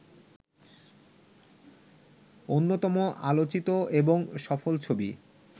অন্যতম আলোচিত এবং সফল ছবি